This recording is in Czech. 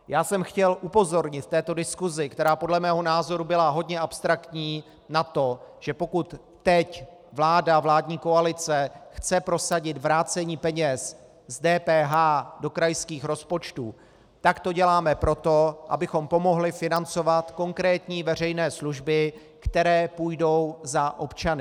Já jsem chtěl upozornit v této diskusi, která podle mého názoru byla hodně abstraktní, na to, že pokud teď vláda, vládní koalice chce prosadit vrácení peněz z DPH do krajských rozpočtů, tak to děláme proto, abychom pomohli financovat konkrétní veřejné služby, které půjdou za občany.